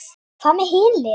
Hvað með hin liðin?